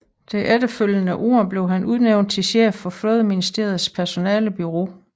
Det efterfølgende år blev han udnævnt til chef for Flådeministeriets personalebureau